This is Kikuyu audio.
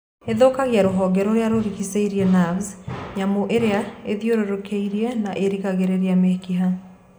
Ĩthũkagia rũhonge rũrĩa rũringicĩirie navu, nyamũ ĩrĩa ĩthĩũrũrũkĩirie na ĩrigagĩrĩria mĩkiha.